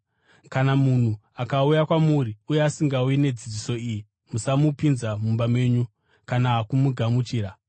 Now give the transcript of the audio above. Kana munhu akauya kwamuri uye asingauyi nedzidziso iyi, musamupinza mumba menyu kana kumugamuchira.